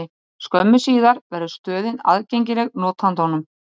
Skömmu síðar verður stöðin aðgengileg notandanum.